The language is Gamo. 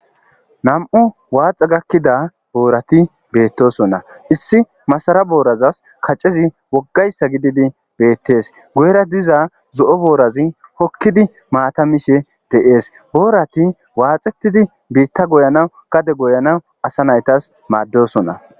Naam'u waaxa gakkida boorati beettosonna. Issi masara boorazas kacezi wogga issa gididi beettees. Guyera diza zo'o boorazi hokkidi maata mishe de'ees. Boorati waaxetidi biitta goyanaw gade goyanaw asa naytas maaddosonna.